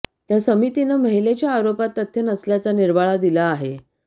त्या समितीनं महिलेच्या आरोपात तथ्य नसल्याचा निर्वाळा दिला आहे